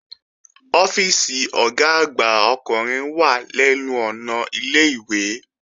Ọ́fíìsì Ọ̀gá àgbà ọkùnrin wà lẹ́nu ọ̀nà ilé-ìwé